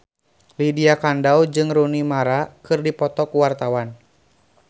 Lydia Kandou jeung Rooney Mara keur dipoto ku wartawan